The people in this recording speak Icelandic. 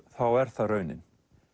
þá er það raunin